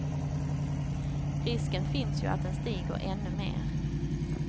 Risken finns ju att den stiger ännu mer.